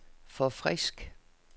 forfrisk